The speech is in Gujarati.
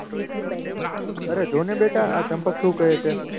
અરે જો ને બેટા આ ચંપક શું કહે છે.